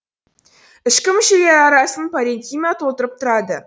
ішкі мүшелер арасын паренхима толтырып тұрады